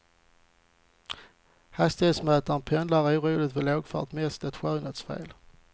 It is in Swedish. Hastighetsmätaren pendlar oroligt vid lågfart, mest ett skönhetsfel.